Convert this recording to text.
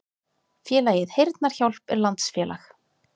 Félagið Heyrnarhjálp er landsfélag.